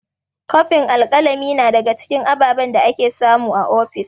Kofin alƙalami na daga cikin ababen da ake samu a ofis.